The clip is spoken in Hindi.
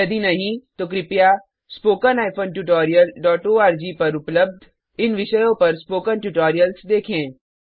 यदि नहीं तो कृपया spoken tutorialओआरजी पर उपलब्ध इन विषयों पर स्पोकन ट्यूटोरियल्स देखें